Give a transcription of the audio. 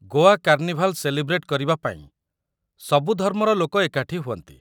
Goa carnival celebrate କରିବା ପାଇଁ ସବୁ ଧର୍ମର ଲୋକ ଏକାଠି ହୁଅନ୍ତି ।